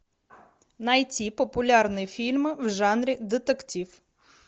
найти популярные фильмы в жанре детектив